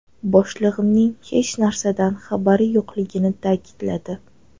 Boshlig‘imning hech narsadan xabari yo‘qligini ta’kidladi.